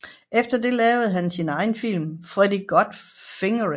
Efter det lavede han sin egen film Freddie Got Fingered